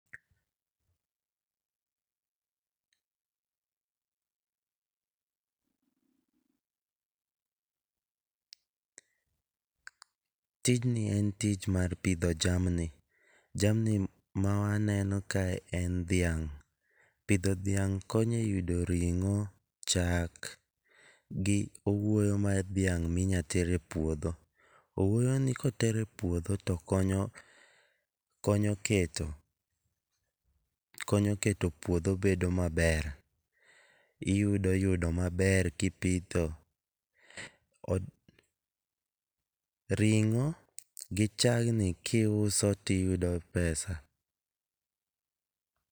Apause of over 10 seconds at the start.